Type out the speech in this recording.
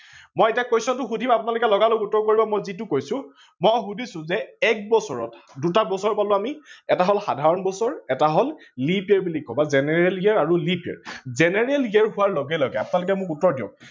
মই এতিয়া question টো সোধিম আপোনালোকে লগা লগ উত্তৰ কৰিব মই যিটো কৈছো, মই সোধিছো যে এক দুটা বছৰ পালো আমি এটা হল সাধাৰন বছৰ এটা হল leap year বুলি কও বা general year আৰু leap year. general year হোৱাৰ লগে লগে আপোনালোকে মোক উত্তৰ দিওক